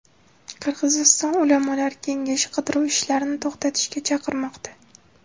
Qirg‘iziston ulamolar kengashi qidiruv ishlarini to‘xtatishga chaqirmoqda.